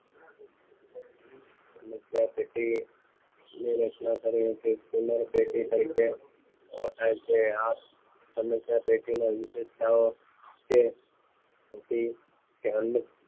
સમસ્યા પેટી ની રચના કરી હતી તેમાં સમસ્યા પેટી તરીકે થાય છે સમસ્યા પેટી ની વિશેષતાઓ તે સૌથી અન્ય